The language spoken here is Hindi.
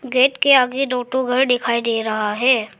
गेट के आगे दो ठो घर दिखाई दे रहा है।